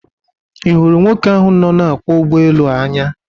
I huru nwoke ahu no na akwo Ugbo elu a Anya?